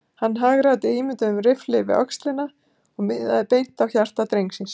Hann hagræddi ímynduðum riffli við öxlina og miðaði beint á hjarta drengsins.